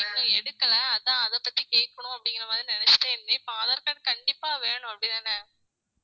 இன்னும் எடுக்கல அதான் அதைப் பத்தி கேட்கணும் அப்படிங்கிற மாதிரி நினைச்சிட்டே இருந்தேன் இப்ப aadhar card கண்டிப்பா வேணும் அப்படித்தானே